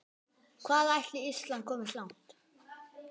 Hvað ætli Ísland komist langt?